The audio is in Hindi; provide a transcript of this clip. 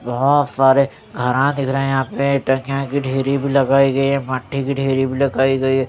बहोत सारे घरा दिख रहे यहां पे कि ढेरी भी लगाई गई हैं मट्टी कि ढेरी भी लगाई गई--